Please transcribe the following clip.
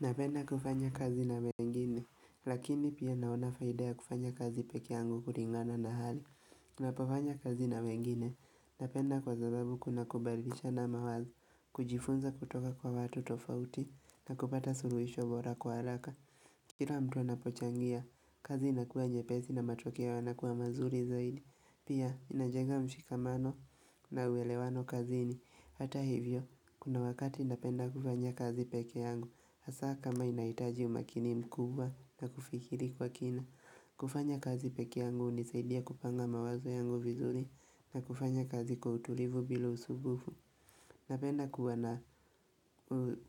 Napenda kufanya kazi na wengine, lakini pia naona Faida ya kufanya kazi peke yangu kuringana na hali. Napofanya kazi na wengine, napenda kwa zababu kuna kubalisha na mawazo, kujifunza kutoka kwa watu tofauti, na kupata suruisho bora kwa alaka. Kira mtu anapochangia, kazi inakua nyepezi na matokeo ya nakua mazuri zaidi, pia inajega mshikamano na uwelewano kazini. Hata hivyo, kuna wakati napenda kufanya kazi peke yangu, hasa kama inaitaji umakini mkubwa na kufikiri kwa kina kufanya kazi peke yangu unisaidia kupanga mawazo yangu vizuri na kufanya kazi kwa utulivu bila usubufu Napenda kuwa na